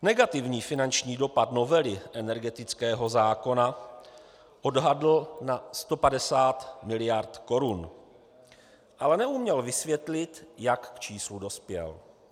Negativní finanční dopad novely energetického zákona odhadl na 150 miliard korun, ale neuměl vysvětlit, jak k číslu dospěl.